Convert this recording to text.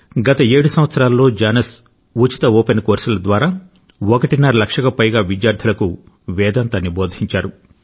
గత 7 సంవత్సరాల్లో జానస్ ఉచిత ఓపెన్ కోర్సుల ద్వారా ఒకటిన్నర లక్షకు పైగా విద్యార్థులకు వేదాంతాన్ని బోధించారు